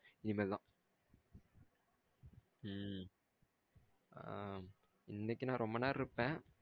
உம் ஆ இன்னைக்கு நா ரொம்ப நேரம் இருப்பேன்.